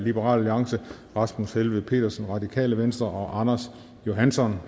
rasmus helveg petersen og anders johansson